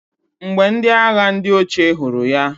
Mgbe ndi agha ndi oche huru ya..